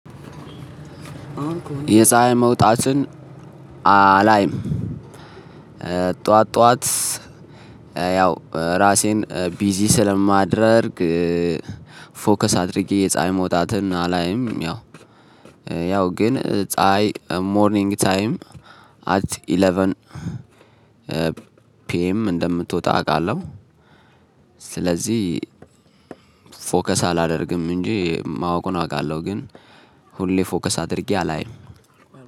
የፀሀይ መውጣትን አላይም። ጠዋት ጠዋት ያው ራሴን ቢዚ ስለማደርግ። ፎከስ አድርጌ የፀሀይ መውጣትን አላይም። ያው ያው ግን ፀሀይ ሞርኒንግ ታይም አት ኢለቨን ፒኤም እንደምትወጣ አውቃለሁ። ስለዚህ ፎከስ አላደርግም እንጂ ማወቅን አውቃለሁ። ግን ሁሌ ፎከስ አድርጌ አላይም።